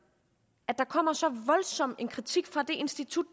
at der kommer så voldsom en kritik fra det institut